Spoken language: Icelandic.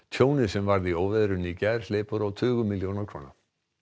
tjónið sem varð í óveðrinu í gær hleypur á tugum milljóna króna